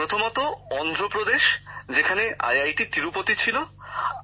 প্রথমটি অন্ধ্রপ্রদেশের তিরুপতি আইআইটি